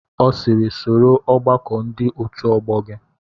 Ọ sịịrị, soro ọgbakọ ndị otu ọgbọ gị!